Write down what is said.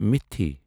مِتِھ